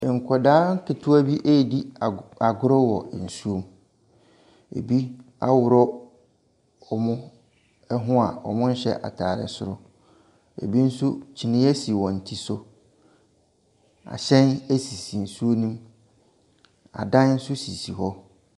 Nkwadaa ketewa bi ɛredi agorɔ wɔ nsuo mu. Ebi aroɔ wɔn ho a ɔnhyɛ ntaade soro. Ebi nso kyiniiɛ si wɔn ti so. Ahyɛn esisi nsuo no mu. Adan nso esisi hɔ.